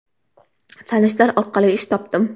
Tanishlar orqali ish topdim.